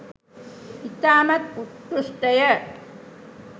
ඉතාමත් උත්කෘෂ්ඨය